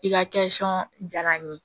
I ka jara n ye